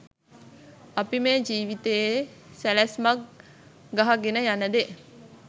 අපි මේ ජීවිතයේ සැලැස්මක් ගහගෙන යන දේ